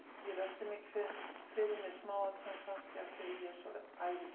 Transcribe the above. Ég velti mikið fyrir mér smáatriðum, kannski af því að ég er svo ærukær.